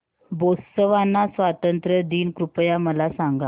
Botswana स्वातंत्र्य दिन कृपया मला सांगा